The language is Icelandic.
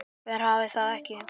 Hver hafði það ekki?